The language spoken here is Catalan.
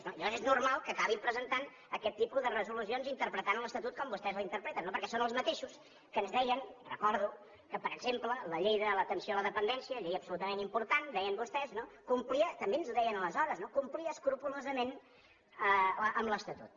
llavors és normal que acabin presentant aquest tipus de resolucions que interpreten l’estatut com vostès l’interpreten perquè són els mateixos que ens deien ho recordo que per exemple la llei de l’atenció a la dependència llei absolutament important deien vostès complia també ens ho deien aleshores escrupolosament l’estatut